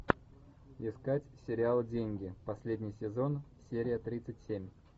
искать сериал деньги последний сезон серия тридцать семь